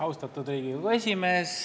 Austatud Riigikogu esimees!